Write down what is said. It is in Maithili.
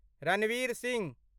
रणवीर सिंह